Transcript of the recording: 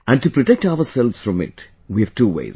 And to protect ourselves from it, we have two ways